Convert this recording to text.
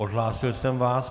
Odhlásil jsem vás.